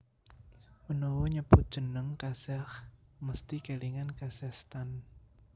Menawa nyebut jeneng Kazakh mesthi kèlingan Kazakhstan